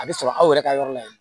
A bɛ sɔrɔ aw yɛrɛ ka yɔrɔ la yen